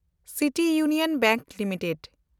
City Union Bank limited